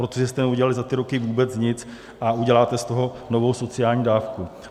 Protože jste neudělali za ty roky vůbec nic a uděláte z toho novou sociální dávku.